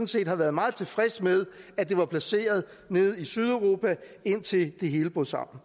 set har været meget tilfreds med at det var placeret nede i sydeuropa indtil det hele brød sammen